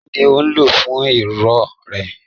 Kí ni ò ń lò fún ifo rẹ?